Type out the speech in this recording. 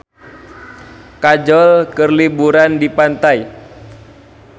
Kajol keur liburan di pantai